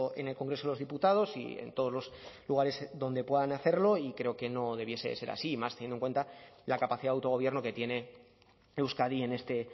en el congreso de los diputados y en todos los lugares donde puedan hacerlo y creo que no debiese ser así y más teniendo en cuenta la capacidad de autogobierno que tiene euskadi en este